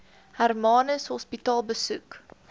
hermanus hospitaal besoek